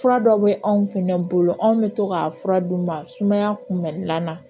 Fura dɔ bɛ anw fɛnɛ bolo anw bɛ to k'a fura d'u ma sumaya kunbɛ lanana